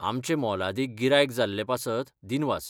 आमचें मोलादीक गिरायक जाल्ले पासत दिनवास.